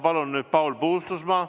Paul Puustusmaa, palun!